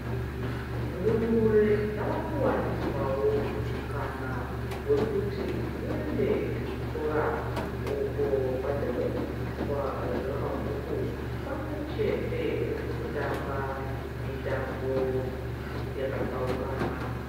Ndumure dzava kuwaniswawo mukana wekuti dziende kuchikora uko kwadzinodzidziswa zvemabhuku pamwechete nekutamba mitambo yakatsaukana.